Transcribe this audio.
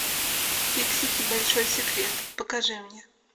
фиксики большой секрет покажи мне